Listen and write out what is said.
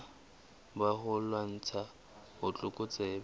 rona ba ho lwantsha botlokotsebe